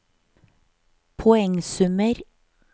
poengsummer